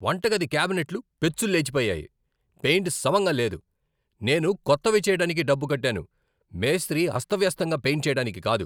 వంటగది క్యాబినెట్లు పెచ్చులు లేచిపోయాయి, పెయింట్ సమంగా లేదు. నేను కొత్తవి చెయ్యటానికి డబ్బు కట్టాను, మేస్త్రీ అస్తవ్యస్తంగా పెయింట్ చెయ్యటానికి కాదు!